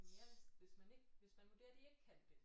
Det er mere hvis man ikke hvis man vurderer de ikke kan det